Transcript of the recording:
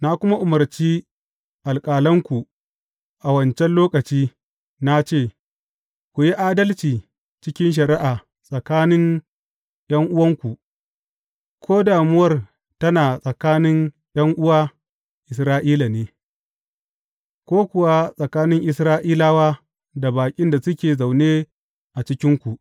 Na kuma umarci alƙalanku a wancan lokaci, na ce, Ku yi adalci cikin shari’a tsakanin ’yan’uwanku, ko damuwar tana tsakanin ’yan’uwa Isra’ilawa ne, ko kuwa tsakanin Isra’ilawa da baƙin da suke zaune a cikinku.